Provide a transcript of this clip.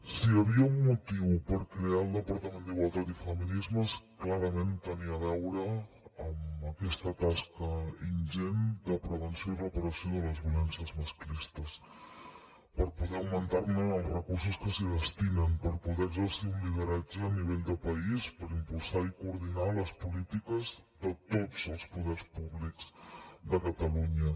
si hi havia un motiu per crear el departament d’igualtat i feminismes clarament tenia a veure amb aquesta tasca ingent de prevenció i reparació de les violències masclistes per poder augmentar ne els recursos que s’hi destinen per poder exercir un lideratge a nivell de país per impulsar i coordinar les polítiques de tots els poders públics de catalunya